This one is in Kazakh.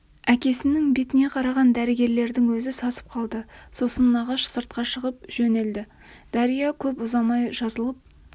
әкесінің бетіне қараған дәрігерлердің өзі сасып қалды сосын нағаш сыртқа шыға жөнелді дария көп ұзамай жазылып